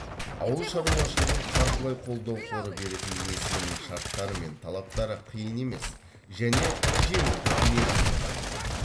ауыл шаруашылығын қаржылай қолдау қоры беретін несиенің шарттары мен талаптары қиын емес және жеңілдік мерзімі бар